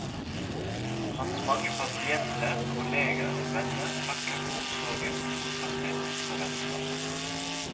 Hans mange pasienter, kolleger og venner takker for omsorgen, trofastheten og vennskapet.